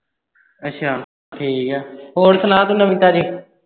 ਅੱਛਾ ਠੀਕ ਆ। ਹੋਰ ਸੁਣਾ ਤੂੰ ਨਵੀ ਤਾਜੀ।